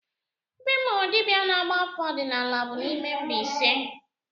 Ebe m hụrụ dibịa na-agba afa ọdịnala bụ n'ime Mbaise